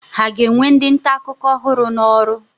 Ha ga-ewe ndị nta akụkọ ọhụrụ n'ọrụ?